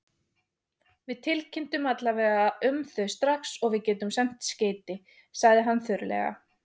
Við tilkynnum alla vega um þau strax og við getum sent skeyti, sagði hann þurrlega.